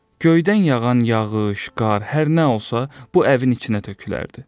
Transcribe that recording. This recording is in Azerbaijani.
Göydən yağan yağış, qar, hər nə olsa, bu evin içinə tökülərdi.